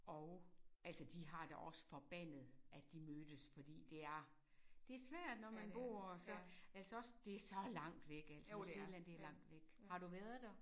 Og altså de har da også forbandet at de mødtes fordi det er det svært når man bor så altså også det er så langt væk altså New Zealand det er langt væk. Har du været der?